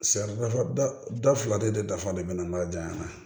Sɛ dafa da fila de dafa de bɛ na n'a janya na